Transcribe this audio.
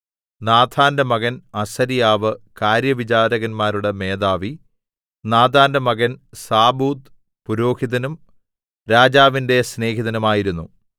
നാഥാന്റെ മകൻ അസര്യാവ് കാര്യവിചാരകന്മാരുടെ മേധാവി നാഥാന്റെ മകൻ സാബൂദ് പുരോഹിതനും രാജാവിന്റെ സ്നേഹിതനുമായിരുന്നു